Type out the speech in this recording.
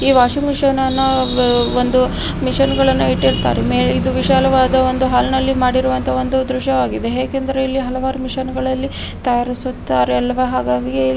ಈ washing machine ಅನ್ನೋ ಒಂದು ಮಷೀನ್ಗಳನ್ನು ಇಟ್ಟಿರುತ್ತಾರೆ ಮೇ ಇದು ವಿಶಾಲವಾದ ಒಂದು ಹಲ್ನಲ್ಲಿ ಮಾಡಿರುವಂತ ಒಂದು ದೃಶ್ಯವಾಗಿದೆ ಏಕೆಂದರೆ ಇಲ್ಲಿ ಅಲವರು ಮಷೀನ್ಗಳಲ್ಲಿ ತಯಾರಿಸುತ್ತಾರೆ ಅಲ್ಲವ ಹಾಗಾಗಿ ಇಲ್ಲಿ --